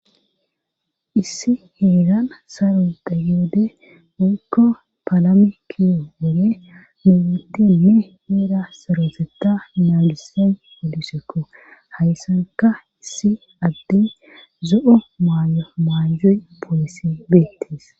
issi heegan saro da yoode mikko palami kiyo wole muhutinne heera saroseta naagise polisekko hayssanka issi adde zo7o maayo maaju poolisi beettes